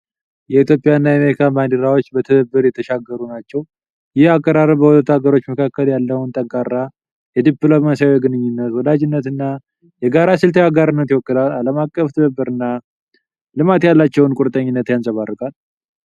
የኢትዮጵያና የአሜሪካን ባንዲራዎች በትብብር የተሻገሩ ናቸው። ይህ አቀራረብ በሁለቱ አገሮች መካከል ያለውን ጠንካራ የዲፕሎማሲያዊ ግንኙነት፣ ወዳጅነትና የጋራ ስልታዊ አጋርነት ይወክላል። ለዓለም አቀፍ ትብብርና ልማት ያላቸውን ቁርጠኝነት ያንፀባርቃል።